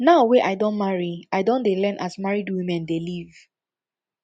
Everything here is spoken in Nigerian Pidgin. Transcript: now wey i don marry i don dey learn as married women dey live